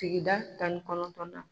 Sigida tannikɔnɔntɔnna.